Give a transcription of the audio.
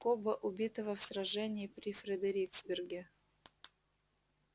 кобба убитого в сражении при фредериксберге